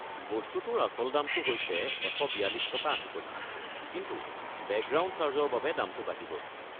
বস্তুটোৰ আচল দামটো হৈছে ১৪২.৮ টকা, কিন্তু বেকগ্ৰাউণ্ড চাৰ্জৰ বাবে দামটো বাঢ়িব।